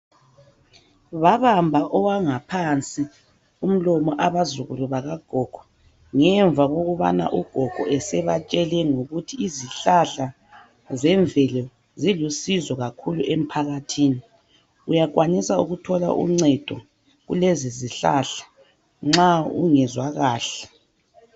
Babamba owangaphansi umlomo abazukulu bakagogo, ngemva kokubana ugogo esebatshele ngokuthi izihlahla zemvelo zilusizo kakhulu emphakathini uyakwanisa ukuthola uncedo kulezi zihlahla nxa ungezwa kahle.